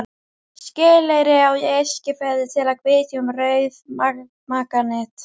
Skeleyri á Eskifirði, til að vitja um rauðmaganet.